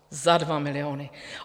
Za dva miliony.